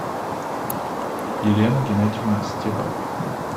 елена геннадьевна стеба